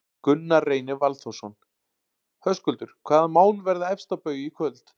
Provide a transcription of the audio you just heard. Gunnar Reynir Valþórsson: Höskuldur, hvaða mál verða efst á baugi í kvöld?